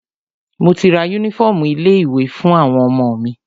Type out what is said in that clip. Mo ti ra yúnífọ̀ọmù ilé ìwé fún àwọn ọmọ mi.